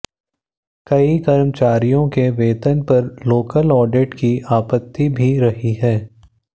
कई कर्मचारियों के वेतन पर लोकल ऑडिट की आपत्ति भी रही है